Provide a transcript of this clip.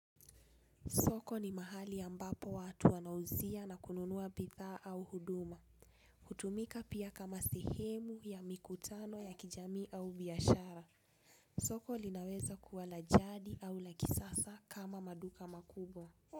Soko ni mahali ambapo watu wanauzia na kununua bidhaa au huduma. Hutumika pia kama sehemu ya mikutano ya kijamii au biashara. Soko linaweza kuwa la jadi au la kisasa kama maduka makubwa.